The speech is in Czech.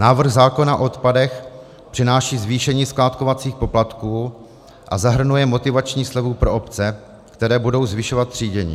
Návrh zákona o odpadech přináší zvýšení skládkovacích poplatků a zahrnuje motivační slevu pro obce, které budou zvyšovat třídění.